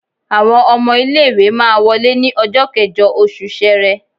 Àwọn ọmọ ilé ìwé máa wọlé ní ọjọ́ kẹ́jọ oṣù Ṣẹrẹ.